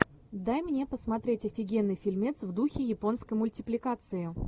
дай мне посмотреть офигенный фильмец в духе японской мультипликации